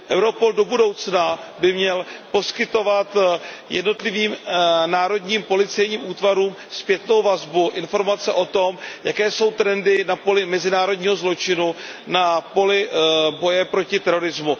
Europol by do budoucna měl poskytovat jednotlivým národním policejním útvarům zpětnou vazbu informace o tom, jaké jsou trendy na poli mezinárodního zločinu, na poli boje proti terorismu.